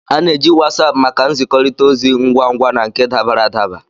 A na-eji Wasapu maka nzikọrịta ozi ngwa ngwa na nke dabara adaba.